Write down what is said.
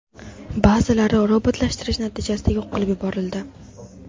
Ba’zilari robotlashtirish natijasida yo‘q qilib yuborildi.